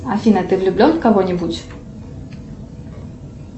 афина ты влюблен в кого нибудь